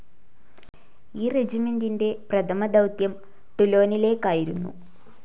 ഈ റെജിമെൻ്റിൻ്റെ പ്രഥമദൗത്യം ടൂലോനിലേക്കായിരുന്നു.